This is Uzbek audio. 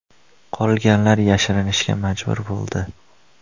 Qolganlar yashirinishga majbur bo‘ldi.